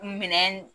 Minɛn